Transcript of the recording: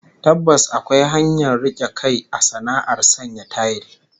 Tabbas akwai hanyar rike kai a sana'ar sanya tayil